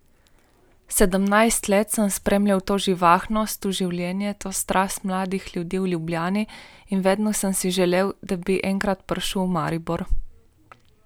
Sedemnajst let sem spremljal to živahnost, to življenje, to strast mladih ljudi v Ljubljani in vedno sem si želel, da bi enkrat prišel v Maribor.